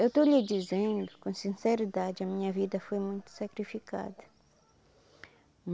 Eu estou lhe dizendo com sinceridade, a minha vida foi muito sacrificada.